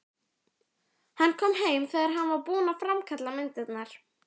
Hann kom heim þegar hann var búinn að framkalla myndirnar.